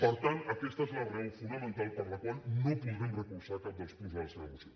per tant aquesta és la raó fonamental per la qual no podrem recolzar cap dels punts de la seva moció